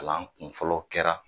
Kalan kun fɔlɔ kɛra